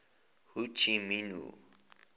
ho chi minh